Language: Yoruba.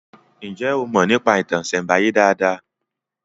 Njé o Mo nípa ìtàn isembaye dá dá?